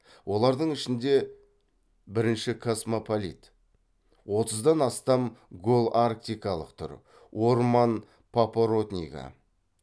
олардың ішінде бірінші космополит отыздан астам голарктикалық түр орман папоротнигі